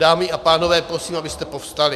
Dámy a pánové, prosím, abyste povstali.